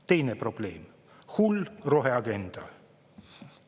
Teine probleem – hull roheagenda.